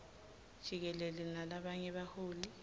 jikelele nalabanye baholi